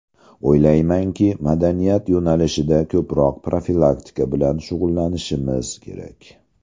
O‘ylaymanki, madaniyat yo‘nalishida ko‘proq profilaktika bilan shug‘ullanishimiz kerak.